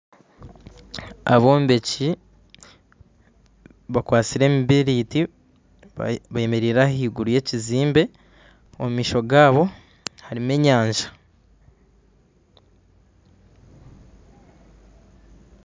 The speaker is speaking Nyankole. Abombeki bakwasire emibiriti bemereire ahiguru y'ekizimbe omumaisho gabo harumu enyanja .